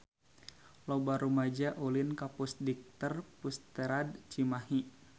Loba rumaja ulin ka Pusdikter Pusterad Cimahi